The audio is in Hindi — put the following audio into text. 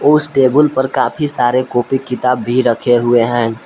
उस टेबुल पर काफी सारे कॉपी किताब भी रखे हुए हैं।